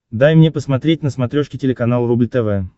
дай мне посмотреть на смотрешке телеканал рубль тв